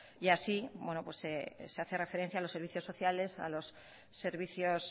y así se hace referencia a los servicios sociales a los servicios